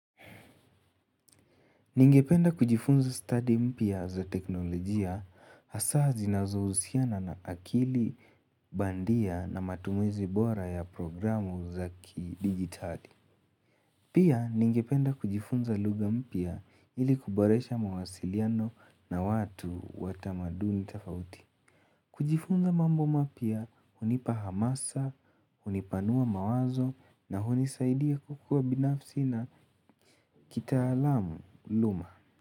Ningependa kujifunza study mpya za teknolojia hasaa zinazohusiana na akili bandia na matumizi bora ya programu za kidigitali. Pia ningependa kujifunza lugha mpya ili kuboresha mawasiliano na watu wa tamaduni tofauti. Kujifunza mambo mapya hunipa hamasa, hunipanua mawazo na hunisaidia kukua binafsi na kitaalamu luma.